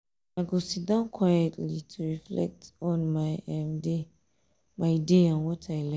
i go sit um down quietly um to reflect on my um day my um day and what i learn.